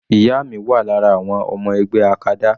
Ìyá mi wà lára àwọn ọmọ ẹgbẹ́ acada.